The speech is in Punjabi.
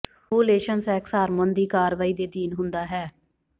ਓਵੂਲੇਸ਼ਨ ਸੈਕਸ ਹਾਰਮੋਨ ਦੀ ਕਾਰਵਾਈ ਦੇ ਅਧੀਨ ਹੁੰਦਾ ਹੈ